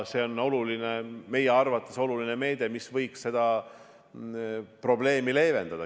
See on meie arvates oluline meede, mis võiks seda probleemi leevendada.